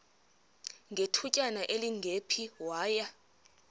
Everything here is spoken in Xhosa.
ngethutyana elingephi waya